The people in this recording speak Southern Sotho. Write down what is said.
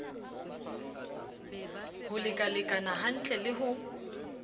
ho lekalekana hantle le ho